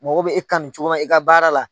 Mɔgɔ bɛ e kanu cogo min i ka baara la.